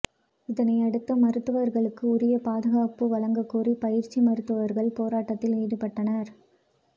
இதனையடுத்து மருத்துவர்களுக்கு உரிய பாதுகாப்பு வழங்கக் கோரி பயிற்சி மருத்துவர்கள் போராட்டத்தில் ஈடுபட்டனர்